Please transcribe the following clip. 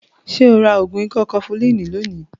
Ṣo ra ògùn ikọ́ kọfulínì lónìí?